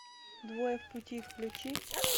двое в пути включи